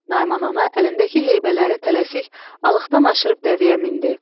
Naiman ana əlindəki heybələri tələsik alıqdan aşırıb dəvəyə mindi.